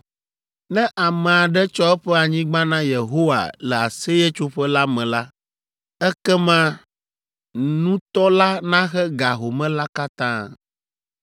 Ne ame aɖe tsɔ eƒe anyigba na Yehowa le Aseyetsoƒe la me la, ekema nutɔ la naxe ga home la katã.